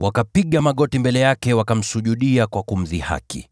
Wakapiga magoti mbele yake, wakamsujudia kwa kumdhihaki.